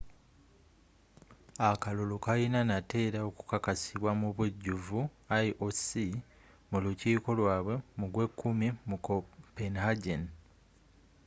akalulu kalina nate era okukakasibwa mubujuvu ioc mu lukiiko lwaabwe mu gwekumi mu copenhagen